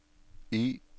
Y